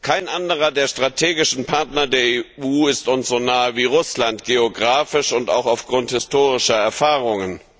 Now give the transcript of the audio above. Kein anderer der strategischen Partner der EU ist uns so nahe wie Russland, geografisch und auch aufgrund historischer Erfahrungen.